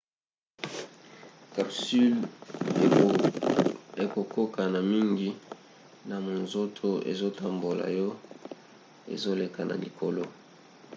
capsule ekokokana mingi na monzoto ezotambola yo ezoleka na likolo